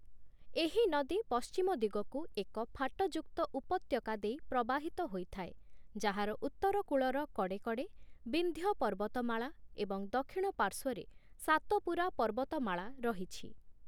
ଏହି ନଦୀ ପଶ୍ଚିମ ଦିଗକୁ ଏକ ଫାଟଯୁକ୍ତ ଉପତ୍ୟକା ଦେଇ ପ୍ରବାହିତ ହୋଇଥାଏ । ଯାହାର ଉତ୍ତର କୂଳର କଡ଼େ କଡ଼େ ବିନ୍ଧ୍ୟ ପର୍ବତମାଳା ଏବଂ ଦକ୍ଷିଣ ପାର୍ଶ୍ୱରେ ସାତପୁରା ପର୍ବତମାଳା ରହିଛି ।